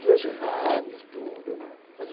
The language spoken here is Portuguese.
Pelos rádios, tudo, né? Mas o